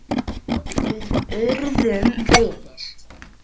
Við urðum vinir.